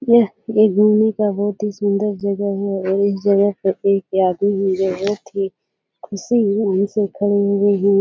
यह एक घूमने का बहोत ही सुन्दर जगह है और इस जगह पर एक बहोत ही खुशी हुए से खड़े हुए है।